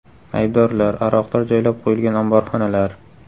Aybdorlar, aroqlar joylab qo‘yilgan omborxonalar.